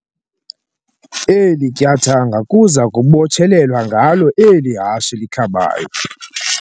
Eli tyathanga kuza kubotshelelwa ngalo eli hashe likhabayo.